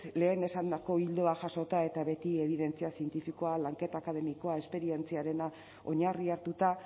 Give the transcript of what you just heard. lehen esandako ildoak jasota eta beti ebidentzia zientifikoa lanketa akademikoa esperientziarena oinarri hartuta